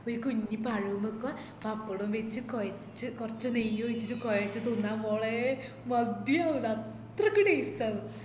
ഒര് കുഞ്ഞി പഴോം വെക്കുവ പപ്പടോം വെച് കൊയച്ച് കൊർച്ച് നെയ് ഒഴിച്ചിറ്റ് തിന്നാം മോളെ മതിയാവൂല അത്രക്ക് taste ആന്ന്